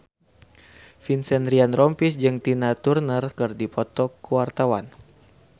Vincent Ryan Rompies jeung Tina Turner keur dipoto ku wartawan